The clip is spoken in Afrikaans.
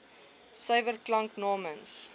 suiwer klanke namens